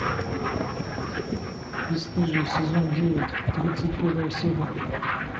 бесстыжие сезон девять тридцать первая серия